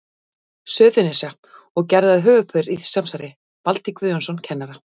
Suðurnesja, og gerðu að höfuðpaur í því samsæri Valtý Guðjónsson kennara.